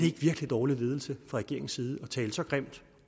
ikke virkelig dårlig ledelse fra regeringens side at tale så grimt